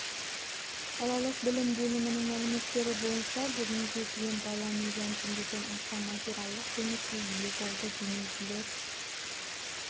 қалалық білім бөлімінің мәліметтері бойынша бүгінге дейін бала миллион теңгеден аса материалдық көмекке ие болды демеушілер